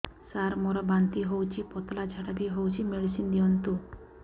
ସାର ମୋର ବାନ୍ତି ହଉଚି ପତଲା ଝାଡା ବି ହଉଚି ମେଡିସିନ ଦିଅନ୍ତୁ